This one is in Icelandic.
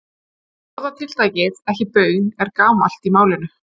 Orðatiltækið ekki baun er gamalt í málinu.